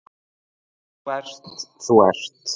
Þú ert, þú ert.